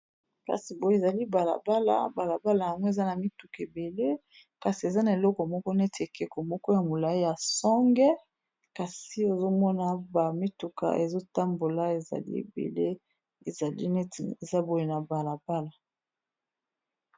Kasi boye ezali balabala balabala yango eza na mituka ebele kasi eza na eloko moko neti ekeko moko ya molai ya songe kasi ozomona ba mituka ezotambola ezali ebele ezali neti eza boye na balabala.